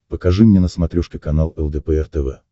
покажи мне на смотрешке канал лдпр тв